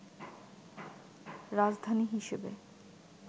রাজধানী হিসেবে